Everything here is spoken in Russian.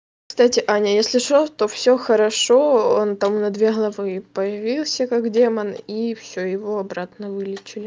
кстати аня если что то всё хорошо он там на две главы появился как демон и всё его обратно вылечили